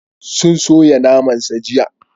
Sun soya naman sa jiya.